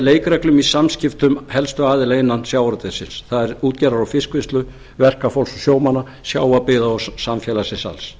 leikreglum í samskiptum helstu aðila innan sjávarútvegsins það er útgerðar og fiskvinnslu verkafólks og sjómanna sjávarbyggða og samfélagsins alls